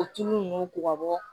O tulu ninnu ko ka bɔ